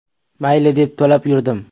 Mayli, deb to‘lab yurdim.